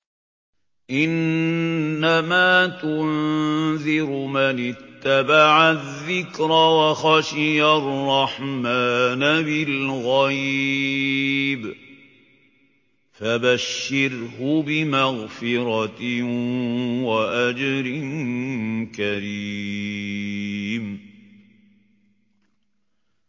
إِنَّمَا تُنذِرُ مَنِ اتَّبَعَ الذِّكْرَ وَخَشِيَ الرَّحْمَٰنَ بِالْغَيْبِ ۖ فَبَشِّرْهُ بِمَغْفِرَةٍ وَأَجْرٍ كَرِيمٍ